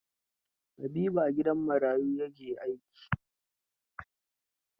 Habibu a gidan marayu ya ke aiki.